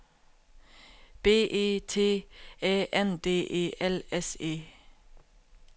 B E T Æ N D E L S E